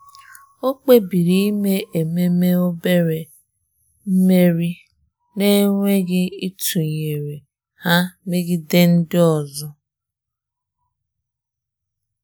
Ọ́ kpébìrì ímé ememe obere mmeri n’énwéghị́ ítụ́nyéré ha megide ndị ọzọ.